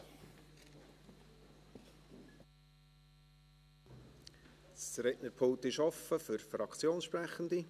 Das Rednerpult ist offen für Fraktionssprechende.